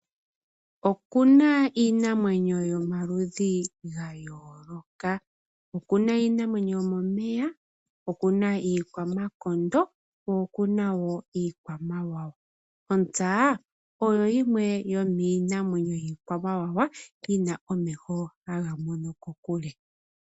Oku na iinamwenyo yomaludhi ga yoolokathana oku na iinamwenyo yomomeya, opu na iikwamakondo ko okuna wo iikwamawawa ontsa oyo yimwe yomiinamwenyo yiikwamawawa yi na omeho haga mono kokule.